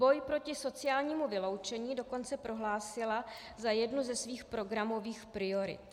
Boj proti sociálnímu vyloučení dokonce prohlásila za jednu ze svých programových priorit.